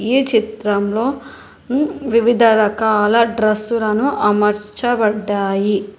ఈ చిత్రంలో వివిధ రకాల డ్రెస్సులను అమర్చబడ్డాయి.